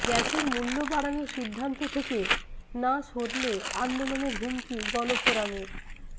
গ্যাসের মূল্য বাড়ানোর সিদ্ধান্ত থেকে না সরলে আন্দোলনের হুমকি গণফোরামের